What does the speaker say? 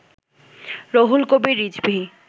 Ruhul Kabir Rizvi